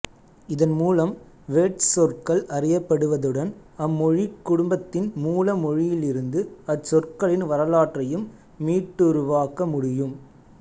இதன் மூலம் வேர்ச் சொற்கள் அறியப்படுவதுடன் அம்மொழிக் குடும்பத்தின் மூல மொழியிலிருந்து அச்சொற்களின் வரலாற்றையும் மீட்டுருவாக்க முடியும்